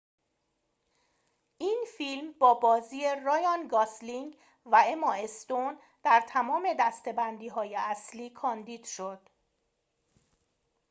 این فیلم با بازی رایان گاسلینگ و اما استون در تمام دسته‌بندی‌های اصلی کاندید شد